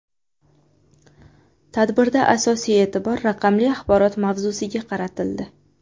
Tadbirda asosiy e’tibor raqamli axborot mavzusiga qaratildi.